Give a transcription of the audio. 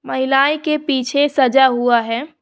महिलाएं के पीछे सजा हुआ है।